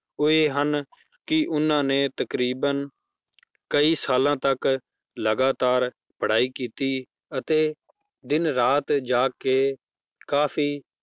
ਉਹ ਇਹ ਹਨ ਕਿ ਉਹਨਾਂ ਨੇ ਤਕਰੀਬਨ ਕਈ ਸਾਲਾਂ ਤੱਕ ਲਗਾਤਾਰ ਪੜ੍ਹਾਈ ਕੀਤੀ ਅਤੇ ਦਿਨ ਰਾਤ ਜਾਗ ਕੇ ਕਾਫ਼ੀ